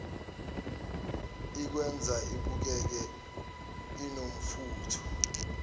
ikwenza ubukeke unomfutho